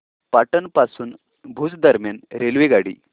पाटण पासून भुज दरम्यान रेल्वेगाडी